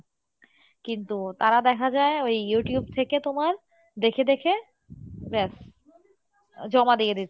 কিন্তু তারা দেখা যাই ওই Youtube থেকে তোমার দেখে দেখে ব্যাস আহ জমা দিয়ে দিচ্ছে।